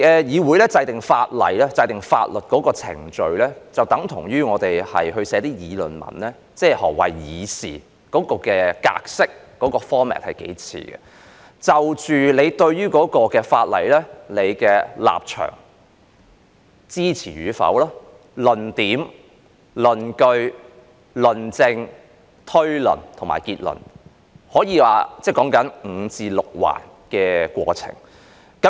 議會制定法例的程序，就像我們要撰寫一篇議論文，兩者的格式很相似，要清楚說明我對於有關法例的立場、是否支持，要有論點、論據、論證、推論和結論，有5至6個部分。